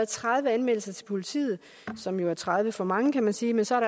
tredive anmeldelser til politiet som jo er tredive for mange kan man sige men så